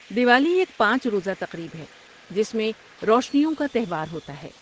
دیوالی ایک پانچ روزہ تقریب ہے جس میں روشنیوں کا تہوار ہوتا ہے۔